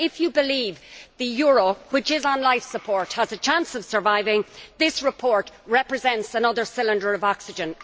But if you believe the euro, which is on life support, has a chance of surviving, then this report represents another cylinder of oxygen.